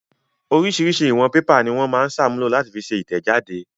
Oríṣiríṣi ìwọ̀n pépà ni wọ́n máa ń ṣàmúlò láti fi ṣe ìtẹ̀jáde.